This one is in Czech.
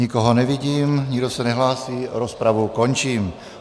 Nikoho nevidím, nikdo se nehlásí, rozpravu končím.